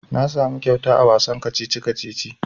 Na samu kyauta a wasan kacici-kacici.